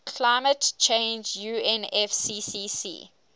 climate change unfccc